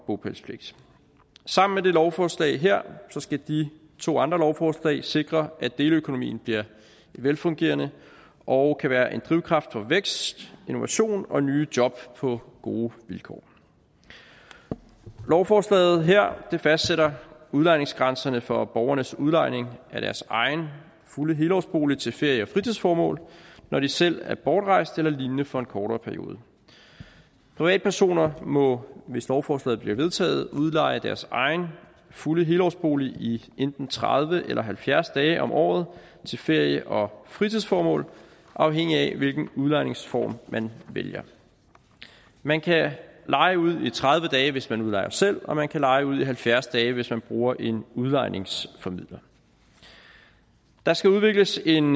bopælspligt sammen med det lovforslag her skal de to andre lovforslag sikre at deleøkonomien bliver velfungerende og kan være en drivkraft for vækst innovation og nye job på gode vilkår lovforslaget her fastsætter udlejningsgrænserne for borgernes udlejning af deres egen fulde helårsbolig til ferie og fritidsformål når de selv er bortrejst eller lignende for en kortere periode privatpersoner må hvis lovforslaget bliver vedtaget udleje deres egen fulde helårsbolig i enten tredive eller halvfjerds dage om året til ferie og fritidsformål afhængigt af hvilken udlejningsform man vælger man kan leje ud i tredive dage hvis man udlejer selv og man kan leje ud i halvfjerds dage hvis man bruger en udlejningsformidler der skal udvikles en